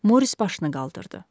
Moris başını qaldırdı.